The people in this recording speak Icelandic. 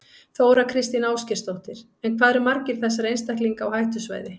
Þóra Kristín Ásgeirsdóttir: En hvað eru margir þessara einstaklinga á hættusvæði?